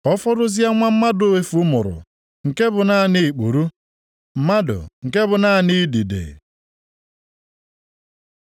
ka ọfọdụzie nwa mmadụ efu mụrụ, nke bụ naanị ikpuru, mmadụ, nke bụ naanị idide.”